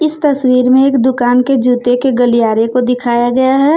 तस्वीर में एक दुकान के जूते के गलियारे को दिखाया गया है।